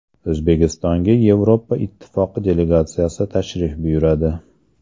O‘zbekistonga Yevropa Ittifoqi delegatsiyasi tashrif buyuradi.